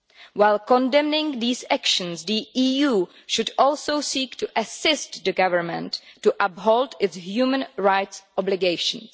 While condemning these actions, the EU should also seek to assist the government to uphold its human rights obligations.